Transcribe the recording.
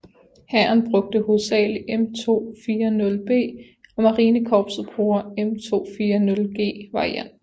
Hæren bruger hovedsagelig M240B og marinekorpset bruger M240G varianten